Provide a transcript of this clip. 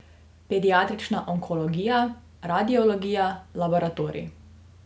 Pediatrična onkologija, Radiologija, Laboratorij.